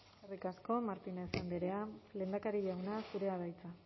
eskerrik asko martínez andrea lehendakari jauna zurea da hitza